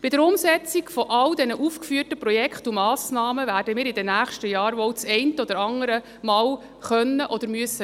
Bei der Umsetzung all dieser aufgeführten Projekte und Massnahmen werden wir in den nächsten Jahren wohl das eine oder andere Mal mitreden können oder müssen.